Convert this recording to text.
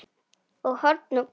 og horn glóa